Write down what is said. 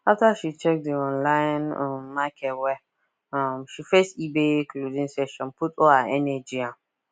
after she check the online um market well um she face ebay clothing section put all her energy um